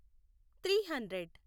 three hundred